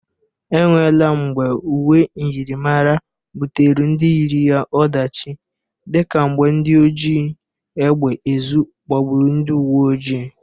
Enwela mgbe uwe myịrịmara butere ndị yiri ya ọdachị dị ka mgbe ndị oji egbe ezu gbagburu ndị uweojii.